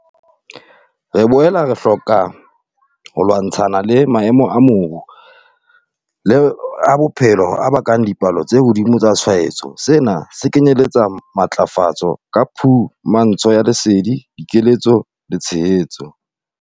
Re boela re hloka ho lwantshana le maemo a moru le a bophelo a bakang dipalo tse hodimo tsa tshwaetso. Sena se kenyeletsa matlafatso ka phumantsho ya lesedi, dikeletso le tshehetso.